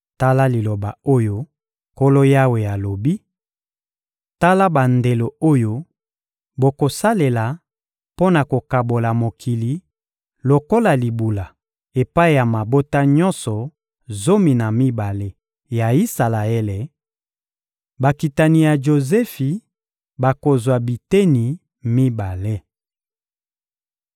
Tala liloba oyo Nkolo Yawe alobi: «Tala bandelo oyo bokosalela mpo na kokabola mokili lokola libula epai ya mabota nyonso zomi na mibale ya Isalaele: bakitani ya Jozefi bakozwa biteni mibale.